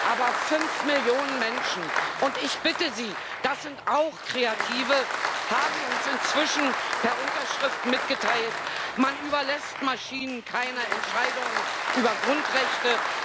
Aber fünf Millionen Menschen und ich bitte Sie, das sind auch Kreative haben uns inzwischen per Unterschrift mitgeteilt Man überlässt Maschinen keine Entscheidungen über Grundrechte